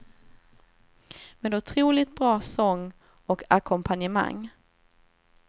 Med otroligt bra sång och ackompanjemang.